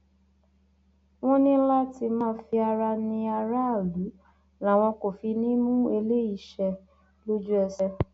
wọn ní láti má fi ara ní aráàlú làwọn kò fi ní í mú eléyìí ṣẹ lójú ẹsẹ